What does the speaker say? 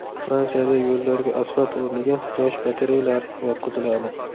Fransiyada yo‘llarga asfalt o‘rniga quyosh batareyalari yotqiziladi.